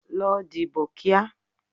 Lọ dìbò kíá!